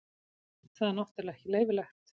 Það er náttúrulega ekki leyfilegt.